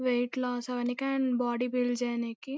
wait loss అవనికి and body build చేనికి--